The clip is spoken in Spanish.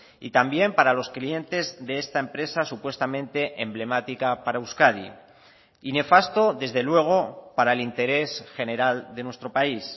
y también para los clientes de esta empresa supuestamente emblemática para euskadi y nefasto desde luego para el interés general de nuestro país